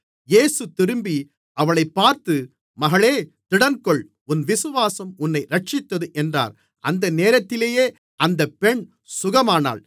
இயேசு திரும்பி அவளைப் பார்த்து மகளே திடன்கொள் உன் விசுவாசம் உன்னை இரட்சித்தது என்றார் அந்தநேரத்திலேயே அந்தப் பெண் சுகமானாள்